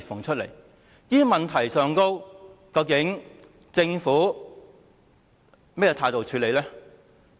就這些問題，究竟政府採取了甚麼態度來處理？